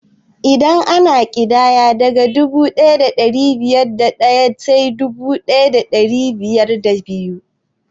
Idan ana ƙidaya, daga dubu ɗaya da ɗari biyar da ɗaya sai dubu ɗaya da ɗari biyar da biyu